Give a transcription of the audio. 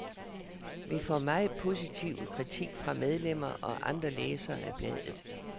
Vi får meget positiv kritik fra medlemmer og andre læsere af bladet.